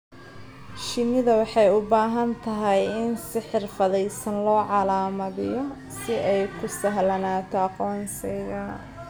Shinnida waxay u baahan tahay in si xirfadaysan loo calaamadiyo si ay u sahlanaato aqoonsiga.